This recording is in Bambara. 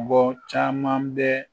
caman bɛ